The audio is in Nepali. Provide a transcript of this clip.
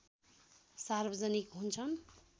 सार्वजनिक हुन्छन्